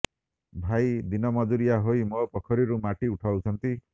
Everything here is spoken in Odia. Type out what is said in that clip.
ଭାଇ ଦିନ ମଜୁରିଆ ହୋଇ ମୋ ପୋଖରୀରୁ ମାଟି ଉଠାଇଛନ୍ତି